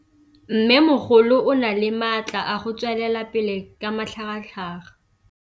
Mmêmogolo o na le matla a go tswelela pele ka matlhagatlhaga.